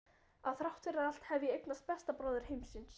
Að þrátt fyrir allt hef ég eignast besta bróður heimsins.